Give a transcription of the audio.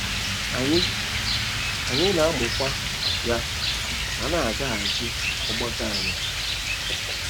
Anyị Anyị na - amụkwa ya, ma na - agachi ọgbako anya.